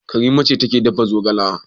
Karima ce take dafa zogala.